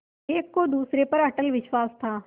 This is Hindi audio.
एक को दूसरे पर अटल विश्वास था